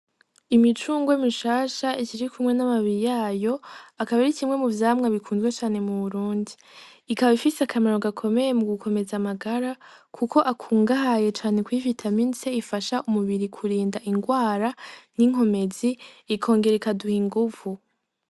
Imicungwe mishasha ishiki kumwe n'amabiri yayo akaba irikimwe mu vyamwa bikunzwe cane mu burundi ikaba ifise akamaro gakomeye mu gukomeza amagara, kuko akungahaye cane kuyifita mintse ifasha umubiri kurinda ingwara n'inkomezi ikongera ikaduha inguvu.